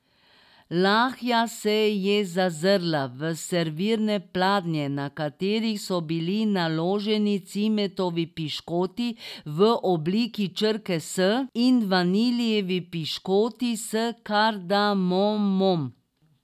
Lahja se je zazrla v servirne pladnje, na katerih so bili naloženi cimetovi piškoti v obliki črke S in vaniljevi piškoti s kardamomom.